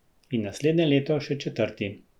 In naslednje leto še četrti.